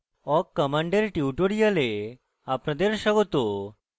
awk command tutorial আপনাদের স্বাগত